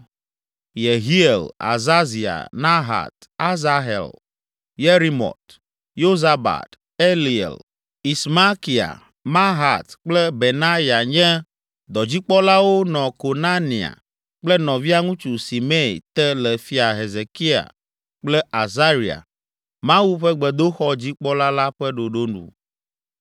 Yehiel, Azazia, Nahat, Asahel, Yerimɔt, Yozabad, Eliel, Ismakia, Mahat kple Benaya nye dɔdzikpɔlawo nɔ Konania kple nɔvia ŋutsu Simei te le Fia Hezekia kple Azaria, Mawu ƒe gbedoxɔ dzikpɔla la ƒe ɖoɖo nu.